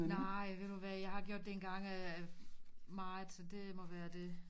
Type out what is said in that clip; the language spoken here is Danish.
Nej og ved du hvad jeg har gjort det engang og ja meget så det må være det